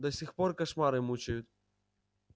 до сих пор кошмары мучают